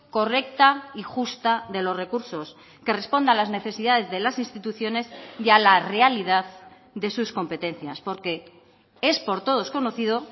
correcta y justa de los recursos que responda a las necesidades de las instituciones y a la realidad de sus competencias porque es por todos conocido